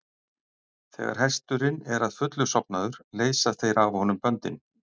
Þegar hesturinn er að fullu sofnaður leysa þeir af honum böndin.